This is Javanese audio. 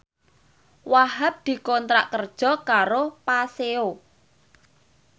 Wahhab dikontrak kerja karo Paseo